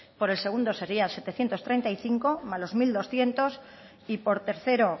por el segundo serían setecientos treinta y cinco más los mil doscientos y por tercero